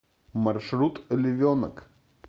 маршрут львенок